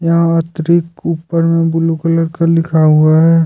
यात्रिक ऊपर में blue colour का लिखा हुआ है।